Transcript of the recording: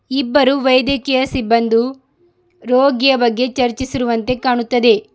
ಇಬ್ಬರು ವೈದ್ಯಕೀಯ ಸಿಬ್ಬಂದು ರೋಗಿಯ ಬಗ್ಗೆ ಚರ್ಚಿಸಿರುವಂತೆ ಕಾಣುತ್ತದೆ.